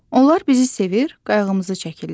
Onlar bizi sevir, qayğımızı çəkirlər.